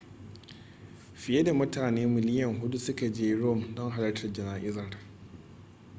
fiye da mutane miliyan huɗu suka je rome don halartar jana'izar